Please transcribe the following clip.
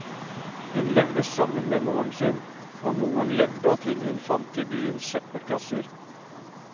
Hun levde sammen med moren sin, og moren levde av ting hun fant i byens søppelkasser.